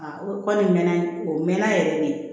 O kɔni mɛnna o mɛnna yɛrɛ de